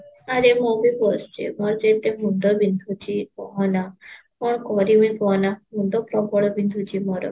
ଆରେ ମୁଁ ବି ବସିଛି ମୋର ଆଜି ଏତେ ମୁଣ୍ଡ ବିନ୍ଧୁଚି କହନା ମୁଁ କଣ କରିବି କହନା, ମୁଣ୍ଡ ପ୍ରବଳ ବିନ୍ଧୁଛି ମୋର